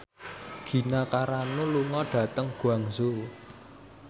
Gina Carano lunga dhateng Guangzhou